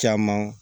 Caman